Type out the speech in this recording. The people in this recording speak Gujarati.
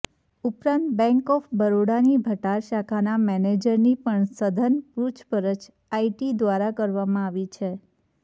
ઉપરાંત બેન્ક ઓફ બરોડાની ભટાર શાખાના મેનેજરની પણ સઘન પૂછપરછ આઈટી દ્વારા કરવામાં આવી છે